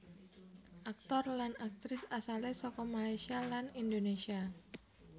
Aktor lan aktris asalé saka Malaysia lan Indonésia